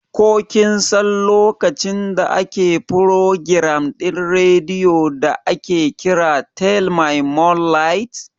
Ko kinsan lokacin da ake furogiram ɗin radio da aƙe ƙira "tales my moonlight"?